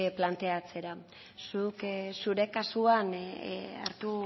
planteatzera zuk zure kasuan hartu